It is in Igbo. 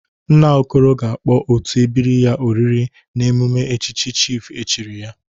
Nna Okoro ga-akpọ otu ebiri ya oriri n'emume echichi chịfụ echiri ya..